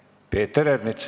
Peeter Ernits.